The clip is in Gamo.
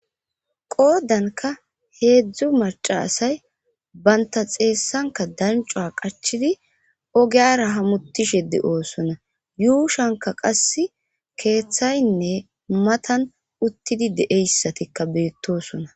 qoodanka heedzdzu maca asay banta xeessanka dancua qachidi ogeyara hamutishe de7oosona yuushanka qass keeththaynne matan uttidi de7eyssatikka beettosona